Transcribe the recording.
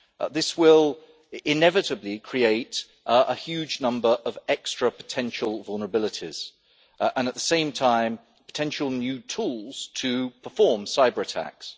This will inevitably create a huge number of extra potential vulnerabilities, and at the same time potential new tools to perform cyber attacks.